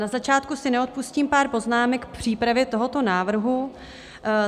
Na začátku si neodpustím pár poznámek k přípravě tohoto návrhu.